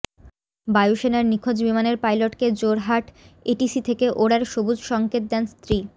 বায়ুসেনার নিখোঁজ বিমানের পাইলটকে জোরহাট এটিসি থেকে ওড়ার সবুজ সঙ্কেত দেন স্ত্রী